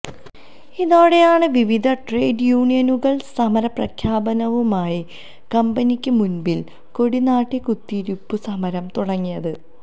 ഇതോടെയാണ് വിവിധ ട്രേഡ് യൂണിയനുകള് സമര പ്രഖ്യാപനവുമായി കമ്പനിക്ക് മുന്പില് കൊടിനാട്ടി കുത്തിയിരുപ്പ് സമരം തുടങ്ങിയത്